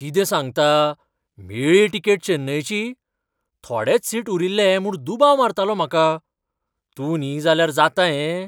कितें सांगता, मेळ्ळी तिकेट चेन्नयची? थोडेच सीट उरिल्ले म्हूण दुबाव मारतालो म्हाका. तूं न्ही जाल्यार जाता हें?